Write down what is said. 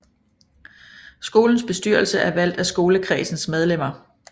Skolens bestyrelse er valgt af skolekredsens medlemmer